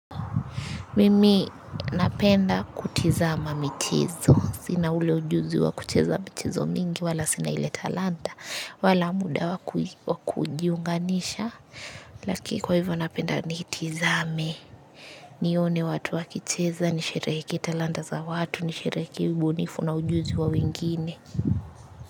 Mimi napenda kutizama michezo. Sina ule ujuzi wa kucheza michezo mingi wala sina ile talanta. Wala muda wa kujiunganisha. Laki kwa hivyo napenda niitizame. Nione watu wakicheza nisherehekee talanta za watu nisherehekee ubunifu na ujuzi wa wengine.